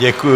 Děkuji.